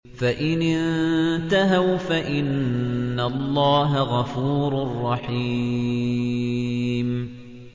فَإِنِ انتَهَوْا فَإِنَّ اللَّهَ غَفُورٌ رَّحِيمٌ